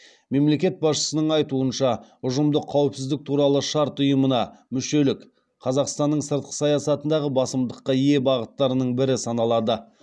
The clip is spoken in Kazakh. мемлекет басшысының айтуынша ұжымдық қауіпсіздік туралы шарт ұйымына мүшелік қазақстанның сыртқы саясатындағы басымдыққа ие бағыттардың бірі саналады